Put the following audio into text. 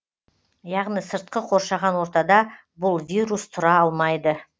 яғни сыртқы қоршаған ортада бұл вирус тұра алмайды